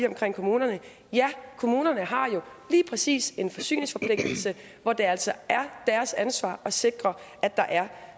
omkring kommunerne ja kommunerne har jo lige præcis en forsyningsforpligtelse hvor det altså er deres ansvar at sikre at der er